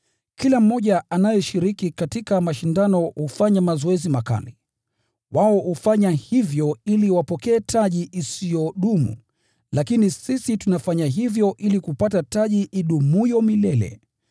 Kila mmoja anayeshiriki katika mashindano hufanya mazoezi makali. Wao hufanya hivyo ili wapokee taji isiyodumu, lakini sisi tunafanya hivyo ili kupata taji idumuyo milele.